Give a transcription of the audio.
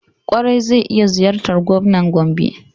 Ƙwarai, zai iya ziyartar gwamnan gobe.